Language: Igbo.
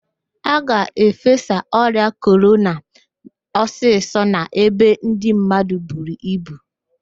A ga-efesa ọrịa korona ọsịsọ n'ebe ndị mmadụ buru ibu